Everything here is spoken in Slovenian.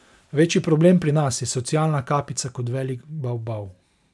Večji problem pri nas je socialna kapica kot velik bavbav.